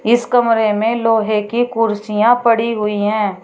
इस कमरे में लोहे की कुर्सियां पड़ी हुई हैं।